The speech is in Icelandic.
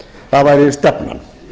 það væri stefnan